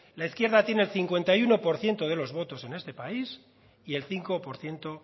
la izquierda tiene el cincuenta y uno por ciento de los votos en este país y el cinco por ciento